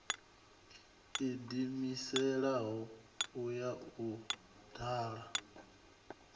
ḓiimiselaho u ya u dala